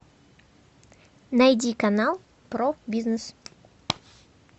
найди канал про бизнес